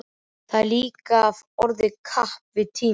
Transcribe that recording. Og mætti agndofa augnaráði Lilju, konunnar sem hann elskaði.